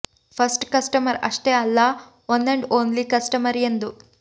first customer ಅಷ್ಟೇ ಅಲ್ಲ one and only customer ಎಂದು